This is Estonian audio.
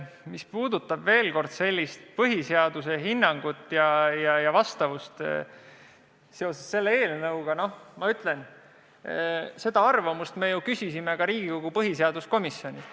Mis puudutab sellist põhiseaduslikku hinnangut ja eelnõu vastavust põhiseadusele, siis ma ütlen, et me küsisime arvamust ka Riigikogu põhiseaduskomisjonilt.